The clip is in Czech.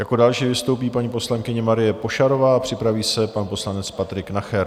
Jako další vystoupí paní poslankyně Marie Pošarová, připraví se pan poslanec Patrik Nacher.